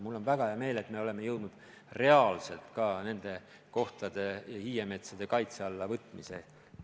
Mul on väga hea meel, et me oleme jõudnud reaalselt ka nende kohtade ja hiiemetsade kaitse alla võtmiseni.